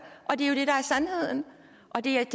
og det er